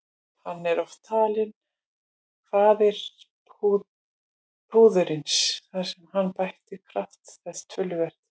Hann er oft talinn faðir púðursins þar sem hann bætti kraft þess töluvert.